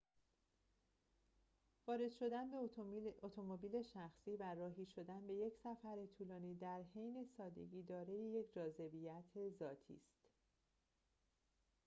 وارد شدن به اتومبیل شخصی و راهی شدن به یک سفر طولانی در حین سادگی دارای یک جذابیت ذاتی است